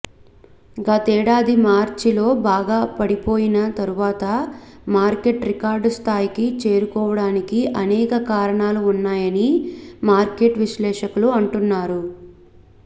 గతేడాది మార్చిలో బాగా పడిపోయిన తరువాత మార్కెట్ రికార్డు స్థాయికి చేరుకోవడానికి అనేక కారణాలు ఉన్నాయని మార్కెట్ విశ్లేషకులు అంటున్నారు